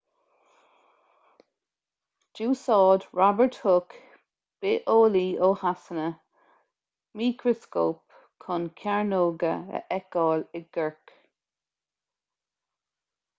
d'úsáid robert hooke bitheolaí ó shasana micreascóp chun cearnóga a fheiceáil i gcorc